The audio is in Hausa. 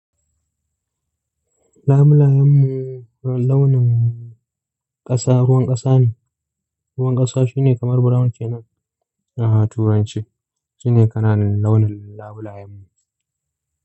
Labulayen launin ƙasa, ruwan ƙasa ne. Ruwan ƙasa shi ne kamar brown ke nan. Aha turanci shi ne kana launin labulayen.